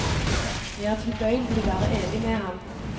Jeg er tilbøyelig til å være enig med ham.